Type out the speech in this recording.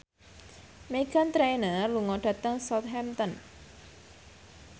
Meghan Trainor lunga dhateng Southampton